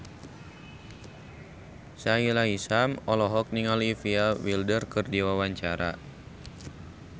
Sahila Hisyam olohok ningali Olivia Wilde keur diwawancara